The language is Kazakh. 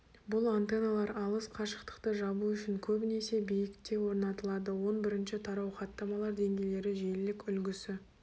бұл антенналар алыс қашықтықты жабу үшін көбінесе биікте орнатылады он бірінші тарау хаттамалар деңгейлері желілік үлгісі